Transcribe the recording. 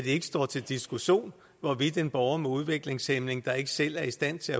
ikke står til diskussion hvorvidt en borger med udviklingshæmning der ikke selv er i stand til